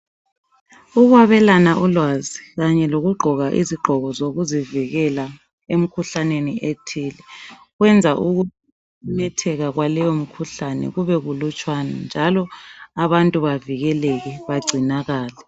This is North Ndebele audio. Ukwabelana ulwazi kanye lokugqoka izigqoko zokuzivikela emkhuhlaneni ethile kwenza ukumemetheka kwaleyo mikhuhlane kube kulutshwane njalo abantu bavikeleke bagcinakale.